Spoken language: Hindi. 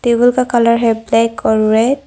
टेबल का कलर है ब्लैक और रेड ।